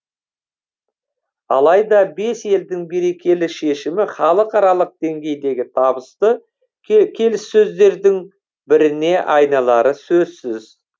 алайда бес елдің берекелі шешімі халықаралық деңгейдегі табысты келіссөздердің біріне айналары сөзсіз